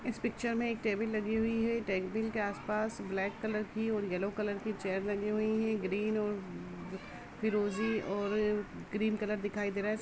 इस पिक्चर में एक टेबल लगी हुई है टेबल के आस-पास ब्लैक कलर की और येलो कलर की चेयर लगी हुई है ग्रीन और फिरोजी और ग्रीन कलर दिखाई दे रहा है।